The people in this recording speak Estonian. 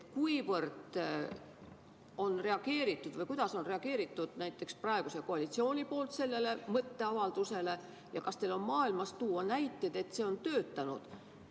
Kuidas on praegune koalitsioon sellele mõtteavaldusele reageerinud ja kas teil on mujalt maailmast tuua näiteid, et see on töötanud?